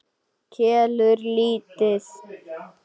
Kelur lítið.